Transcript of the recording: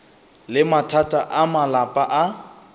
le mathata a malapa a